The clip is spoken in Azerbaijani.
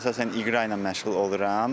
Əsasən iqra ilə məşğul oluram.